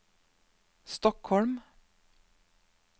Stockholm